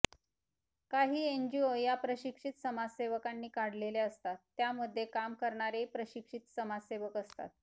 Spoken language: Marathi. काही एनजीओ या प्रशिक्षित समाजसेवकांनी काढलेल्या असतात त्यामध्ये काम करणारेही प्रशिक्षित समाजसेवक असतात